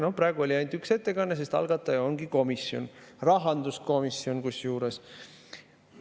Praegu oli, nagu nägite, ainult üks ettekanne, sest algataja on komisjon, rahanduskomisjon kusjuures.